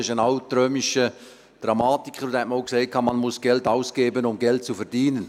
Das ist ein altrömischer Dramatiker, und dieser sagte einmal: «Man muss Geld ausgeben, um Geld zu verdienen.»